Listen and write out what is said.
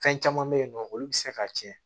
Fɛn caman bɛ yen nɔ olu bɛ se ka tiɲɛ